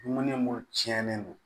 Dumuni munnu cɛnnen don